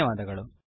ಧನ್ಯವಾದಗಳು